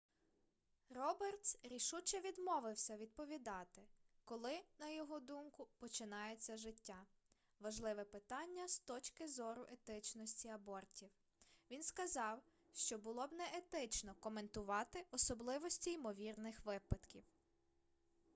робертс рішуче відмовився відповідати коли на його думку починається життя важливе питання з точки зору етичності абортів він сказав що було б неетично коментувати особливості ймовірних випадків